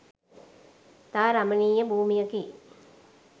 ඉතා රමණීය භූමියකි.